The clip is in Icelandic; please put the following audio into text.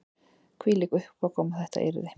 Hvílík uppákoma yrði þetta